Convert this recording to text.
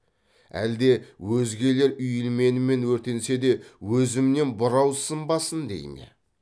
әлде өзгелер үйілменімен өртенсе де өзімнен бұрау сынбасын дей ме